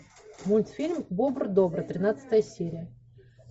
мультфильм бобр добр тринадцатая серия